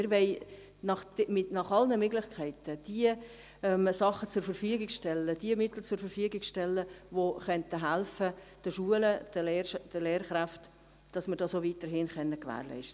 Wir wollen nach allen Möglichkeiten suchen, um diese Mittel zur Verfügung zu stellen, die helfen den Schulen, den Lehrkräften helfen könnten, diese Angebote auch weiterhin zu gewährleisten.